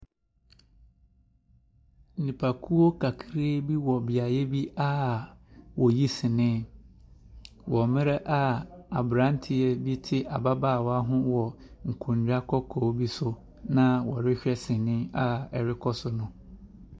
Nnipakuo kakra bi eɔ beaeɛ bi a woyi sinii wɔ mmerɛ a aberanteɛ bi te ababaawa bi ho wɔ nkonnwa kɔkɔɔ bi so na wɔrehwɛ sinii a ɛrekɔ so no.